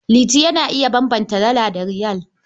Liti yana iya bambanta Dala da Riyal.